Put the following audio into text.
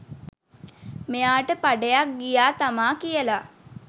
මෙයාට පඩයක් ගියා තමා කියලා